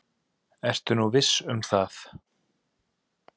Ertu nú viss um það?